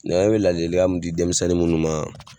bɛ laadilikan mun di denmisɛnnin minnu ma